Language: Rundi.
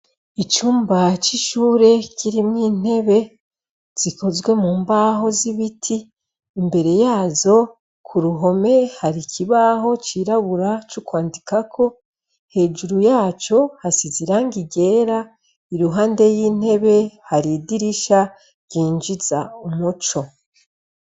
Icumba c'ishure kirimwo intebe zikozwe mumbaho z'ibiti imbere yazo kuruhome har'ikibaho cirabura cokwandikako. Hejuru yaco hasize irangi ryera iruhande y'intebe har'idirisha ryinjiza umuco.